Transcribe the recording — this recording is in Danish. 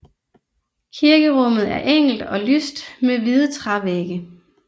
Kirkerummet er enkelt og lyst med hvide trævægge